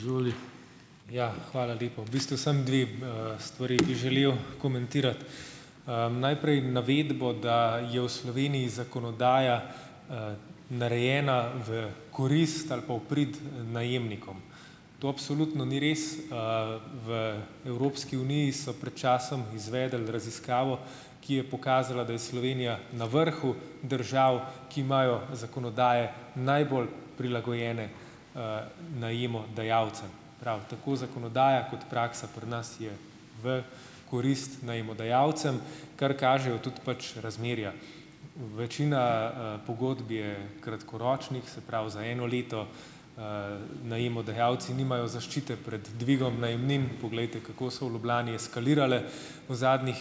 Hvala lepa. V bistvu samo dve, stvari bi želel komentirati. Najprej navedbo, da je v Sloveniji zakonodaja narejena v korist ali pa v prid najemnikom. To absolutno ni res. V Evropski uniji so pred časom izvedli raziskavo, ki je pokazala, da je Slovenija na vrhu držav, ki imajo zakonodaje najbolj prilagojene najemodajalcem. Prav, tako zakonodaja kot praksa pri nas je v korist najemodajalcem, kar kažejo tudi pač razmerja. Večina, pogodb je kratkoročnih, se pravi, za eno leto, najemodajalci nimajo zaščite pred dvigom najemnin - poglejte, kako so v Ljubljani eskalirale v zadnjih,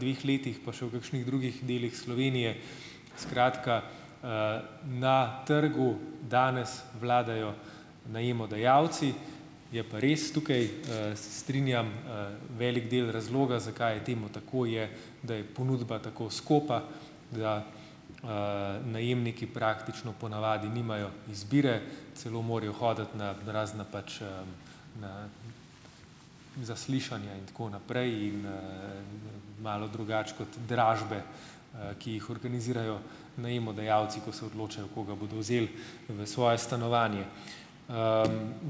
dveh letih, pa še v kakšnih drugih delih Slovenije. Skratka, na trgu danes vladajo najemodajalci. Je pa res tukaj strinjam, velik del razloga, zakaj je temu tako, je da je ponudba tako skopa, da najemniki praktično po navadi nimajo izbire, celo morajo hoditi na razna pač, zaslišanja in tako naprej in malo drugače kot dražbe, ki jih organizirajo najemodajalci, ko se odločajo, koga bodo vzeli v svoje stanovanje.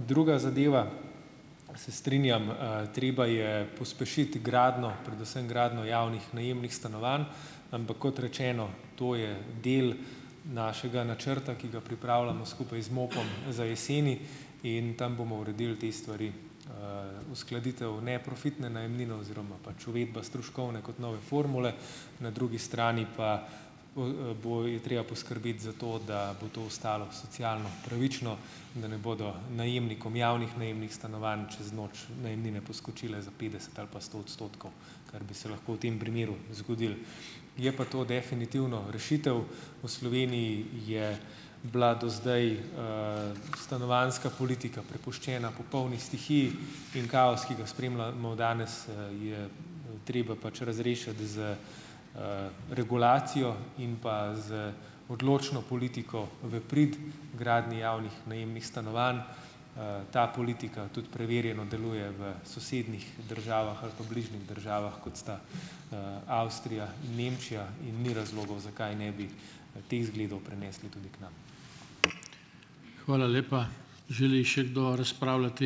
Druga zadeva, se strinjam, treba je pospešiti gradnjo, predvsem gradnjo javnih najemnih stanovanj, ampak, kot rečeno, to je del našega načrta, ki ga pripravljamo skupaj z MOP-om za jeseni in tam bomo uredil te stvari - uskladitev neprofitne najemnine oziroma pač uvedba stroškovne kot nove formule, na drugi strani pa, je treba poskrbeti za to, da bo to ostalo socialno pravično in da ne bodo najemnikom javnih najemnih stanovanj čez noč najemnine poskočile za petdeset ali pa sto odstotkov, kar bi se lahko v tem primeru zgodilo. Je pa to definitivno rešitev. V Sloveniji je bila do zdaj stanovanjska politika prepuščena popolni stihiji in kaos, ki ga spremljamo danes, je treba pač razrešiti z regulacijo in pa z odločno politiko v prid gradnji javnih najemnih stanovanj. Ta politika tudi preverjeno deluje v sosednjih državah ali pa bližnjih državah, kot sta, Avstrija in Nemčija in ni razlogov, zakaj ne bi teh zgledov prenesli tudi k nam.